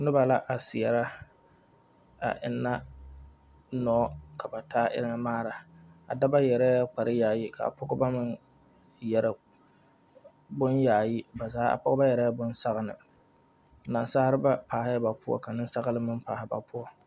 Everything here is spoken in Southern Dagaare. Noba la a seɛrɛ a eŋna noɔ ka ba enni maana a dɔba yɛrɛɛ kpare yaayi ka a pɔgeba meŋ yɛri bonyaayi a pɔgeba yɛrɛɛ boŋ sɔglɔ ka nasalba are ba poɔ ka niŋsɔgli meŋ paali ba poɔ.